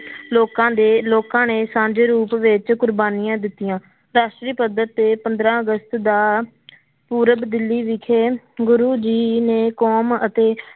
ਲੋਕਾਂ ਦੇ ਲੋਕਾਂ ਨੇ ਸਾਂਝੇ ਰੂਪ ਵਿੱਚ ਕੁਰਬਾਨੀਆਂ ਦਿੱਤੀਆਂ, ਰਾਸ਼ਟਰੀ ਪੱਧਰ ਤੇ ਪੰਦਰਾਂ ਅਗਸਤ ਦਾ ਪੂਰਬ ਦਿੱਲੀ ਵਿਖੇ ਗੁਰੂ ਜੀ ਨੇ ਕੌਮ ਅਤੇ